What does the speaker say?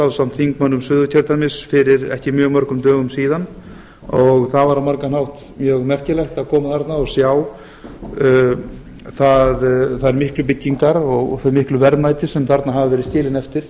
ásamt þingmönnum suðurkjördæmis fyrir ekki mjög mörgum dögum síðan það var á margan hátt mjög merkilegt að koma þarna og sjá þær miklu byggingar og þau miklu verðmæti sem þarna hafa verið skilin eftir